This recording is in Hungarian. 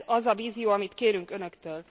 Ez az a vízió, amit kérünk Önöktől.